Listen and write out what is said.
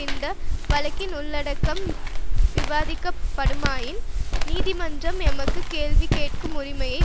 இந்த வழக்கின் உள்ளடக்கம் விவாதிக்கப்படுமாயின் நீதிமன்றம் எமக்கு கேள்வி கேட்கும் உரிமையை வழங்கும்